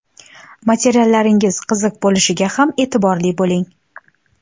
Materiallaringiz qiziq bo‘lishiga ham e’tiborli bo‘ling.